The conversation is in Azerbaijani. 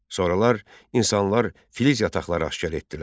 Sonralar insanlar filiz yataqları aşkar etdilər.